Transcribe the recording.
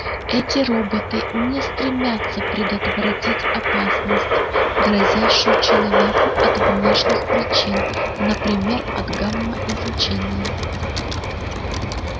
эти роботы не стремятся предотвратить опасность грозящую человеку от внешних причин например от гамма-излучения